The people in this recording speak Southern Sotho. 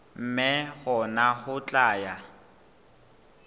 mme hona ho tla ya